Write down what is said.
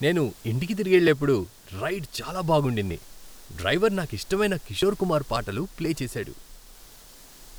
నేను ఇంటికి తిరిగెళ్ళేప్పుడు రైడ్ చాలా బాగుండింది. డ్రైవర్ నాకిష్టమైన కిషోర్ కుమార్ పాటలు ప్లే చేశాడు.